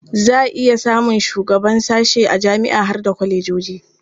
Za a iya samun shugaban sashe a jami'a har da kwalejoji.